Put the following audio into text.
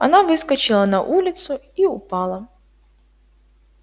она выскочила на улицу и упала